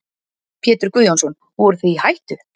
Pétur Guðjónsson: Voruð þið í hættu?